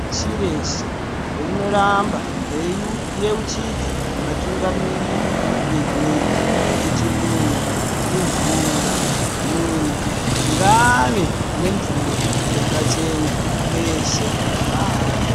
Shireshe rinoramba reiu yeuchidza vatungamiri venyika kuti muntu imvura muntu ngaave nemvura yakachena peshe paari.